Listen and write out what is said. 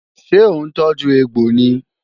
Ṣé òun tọ́jú egbò ni?